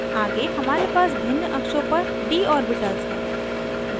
आगे हमारे पास भिन्न अक्षों पर d ऑर्बिटल्स हैं